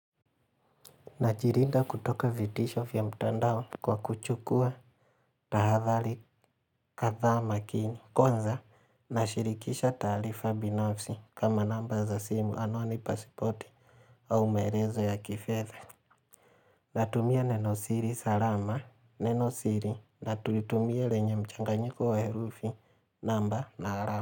Najilinda kutoka vitisho vya mtandao kwa kuchukua tahadhari kadhaa makini. Kwanza, nashirikisha taarifa binafsi kama namba za simu anoni pasipoti au maelezo ya kifedha. Natumia neno siri salama, neno siri, na tulitumia lenye mchanganyiko wa herufi namba na rama.